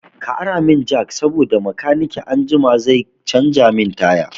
Ka ara mun jak saboda makanikin anjima zai canza min taya